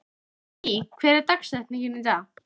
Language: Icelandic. Jónný, hver er dagsetningin í dag?